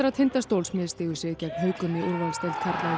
Tindastóls misstigu sig gegn haukum í úrvalsdeild karla